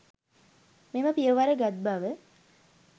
මෙම පියවර ගත් බව